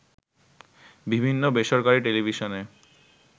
বিভিন্ন বেসরকারি টেলিভিশনে